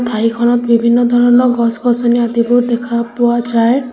বাৰীখনত বিভিন্ন ধৰণৰ গছ-গছনি আদিবোৰ দেখা পোৱা যায়।